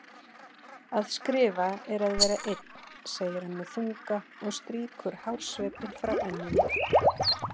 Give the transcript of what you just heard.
Að skrifa er að vera einn, segir hann með þunga og strýkur hársveipinn frá enninu.